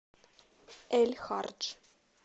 эль хардж